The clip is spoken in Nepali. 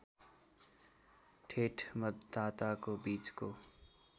ठेट मतदाताको बीचको